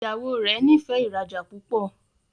Ìyàwó rẹ n'ifẹ ìrajà púpọ.